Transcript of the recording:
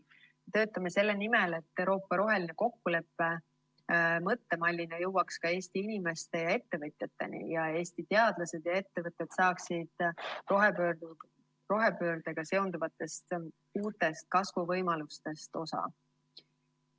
Me töötame selle nimel, et Euroopa roheline kokkulepe mõttemallina jõuaks ka Eesti inimeste ja ettevõtjateni ning Eesti teadlased ja ettevõtted saaksid rohepöördega seonduvatest uutest kasvuvõimalustest osa.